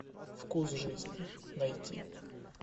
вкус жизни найти